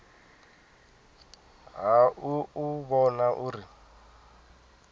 ha u u vhona uri